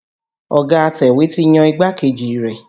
Ọ̀ga atẹ̀wé ti yan igbákejì rẹ̀.